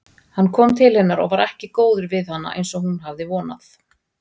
Hann kom til hennar og var ekki góður við hana eins og hún hafði vonað.